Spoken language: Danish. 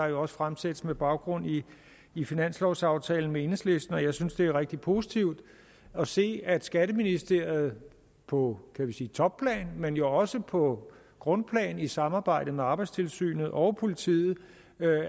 jo også fremsættes med baggrund i finanslovaftalen med enhedslisten jeg synes det er rigtig positivt at se at skatteministeriet på kan man sige topplan men jo også på grundplan i samarbejde med arbejdstilsynet og politiet